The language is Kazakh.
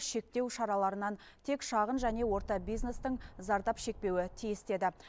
шектеу шараларынан тек шағын және орта бизнестің зардап шекпеуі тиіс деді